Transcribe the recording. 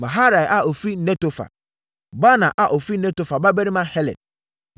Maharai a ɔfiri Netofa; Baana a ɔfiri Netofa babarima Heled;